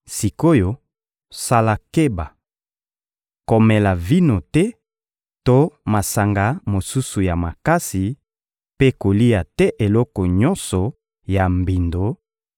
Sik’oyo, sala keba! Komela vino te to masanga mosusu ya makasi, mpe kolia te eloko nyonso ya mbindo;